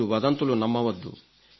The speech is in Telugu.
మీరు వదంతులు నమ్మవద్దు